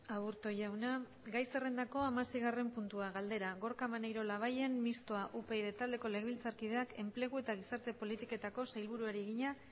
aburto jauna gai zerrendako hamaseigarren puntua galdera gorka maneiro labayen mistoa upyd taldeko legebiltzarkideak enplegu eta gizarte politiketako sailburuari egina